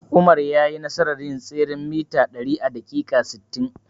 Umar yayi nasarar yin tseren mita ɗari a daƙiƙa sittin.